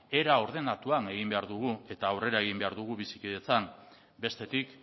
era ordenatuan egin behar dugu eta aurrera egin behar dugu bizikidetzan bestetik